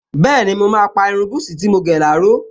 Bẹ́ẹ̀ni, mo máa pa irun búsí tí mo gẹ̀ láró